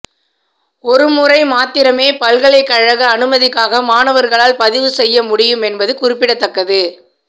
ஒரு முறை மாத்திரமே பல்கலைக்கழக அனுமதிக்காக மாணவர்களால் பதிவு செய்ய முடியும் என்பது குறிப்பிடத்தக்கது